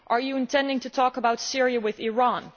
Are you intending to talk about Syria with Iran?